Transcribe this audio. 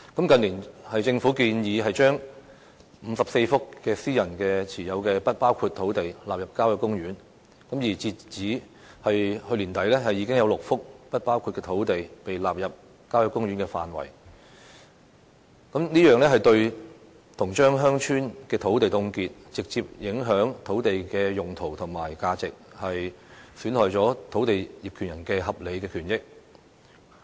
近年，政府建議把54幅私人持有的"不包括土地"納入郊野公園的範圍，而截至去年年底，已經有6幅"不包括土地"被納入郊野公園的範圍，這樣等於把鄉村的土地凍結，直接影響土地的用途及價值，亦損害了土地業權人的合理權益。